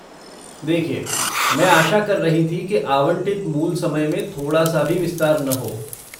देखिये, मैं आशा कर रही थी कि आवंटित मूल समय में थोड़ा सा भी विस्तार न हो।